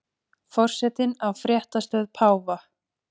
Forsetinn á fréttastöð páfa